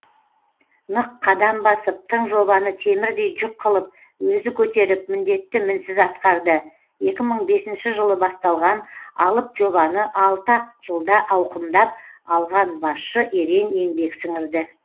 нық қадам басып тың жобаны темірдей жүк қылып өзі көтеріп міндетті мінсіз атқарды екі мың бесінші жылы басталған алып жобаны алты ақ жылда ауқымдап алған басшы ерен еңбек сіңірді